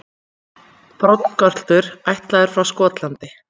Broddgöltur ættaður frá Skotlandi.